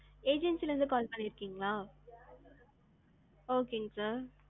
agency ல இருந்து பண்ணிருக்கீங்களா? okay ங்க sir.